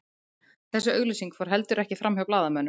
Þessi auglýsing fór heldur ekki framhjá blaðamönnum